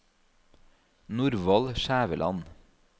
Norvald Skjæveland